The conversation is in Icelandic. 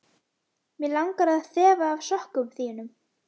Mig langar að þefa af sokkum þínum.